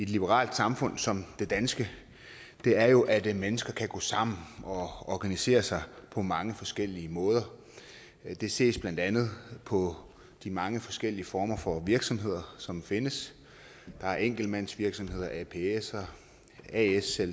liberalt samfund som det danske er jo at mennesker kan gå sammen og organisere sig på mange forskellige måder det ses blandt andet på de mange forskellige former for virksomheder som findes der er enkeltmandsvirksomheder apser aser aser